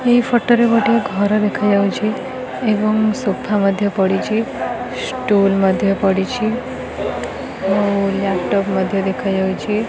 ଏହି ଫଟୋ ରେ ଗୋଟିଏ ଘର ଦେଖାଯାଉଚି ଏବଂ ସୋଫା ମଧ୍ୟ ପଡ଼ିଚି ଷ୍ଟୁଲ୍ ମଧ୍ୟ ପଡ଼ିଚି ଆଉ ଲ୍ୟାପଟପ୍ ମଧ୍ୟ ଦେଖାଯାଉଚି।